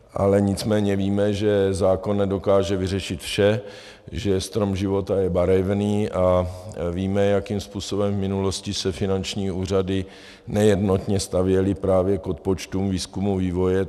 Ale nicméně víme, že zákon nedokáže vyřešit vše, že strom života je barevný, a víme, jakým způsobem v minulosti se finanční úřady nejednotně stavěly právě k odpočtům výzkumu, vývoje.